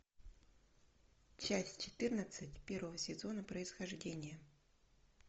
часть четырнадцать первого сезона происхождение